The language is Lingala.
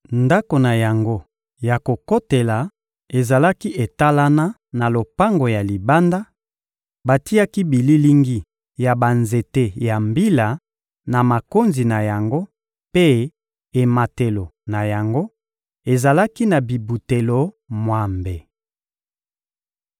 Ndako na yango ya kokotela ezalaki etalana na lopango ya libanda; batiaki bililingi ya banzete ya mbila na makonzi na yango mpe ematelo na yango ezalaki na bibutelo mwambe.